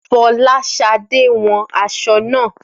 Fọláṣadé wọn aṣọ naa